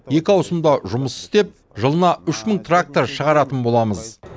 екі аусымда жұмыс істеп жылына үш мың трактор шығаратын боламыз